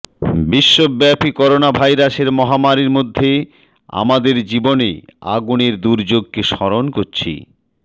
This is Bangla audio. বিশ্বব্যাপী করোনাভাইরাসের মহামারির মধ্যে আমাদের জীবনে আগুনের দুর্যোগকে স্মরণ করছি